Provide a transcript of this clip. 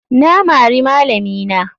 Na mari malami na.